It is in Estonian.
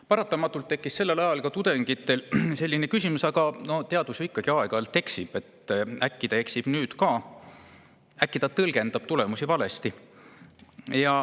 Paratamatult tekkis sellel ajal ka tudengitel selline küsimus, et aga teadus ju ikkagi aeg-ajalt eksib, äkki ta eksib nüüd ka, äkki ta tõlgendab tulemusi valesti.